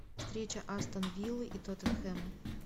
встреча астон виллы и тоттенхэма